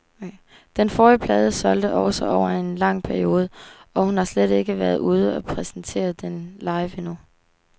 Den forrige plade solgte også over en lang periode, og hun har slet ikke været ude og præsentere den live endnu.